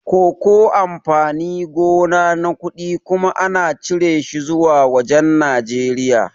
Koko amfani gona na kuɗi kuma ana cire shi zuwa wajan Nijeriya